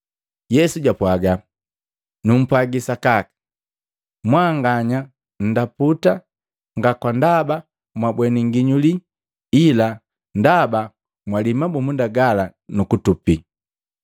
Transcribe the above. Yesu japwaga, “Numpwaji sakaka, mwanganya ndaputa nga ndaba mwabweni nginyuli, ila ndaba mwalii mabumunda gala nukutupi.